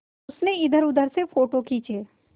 उसने इधरउधर से फ़ोटो खींचे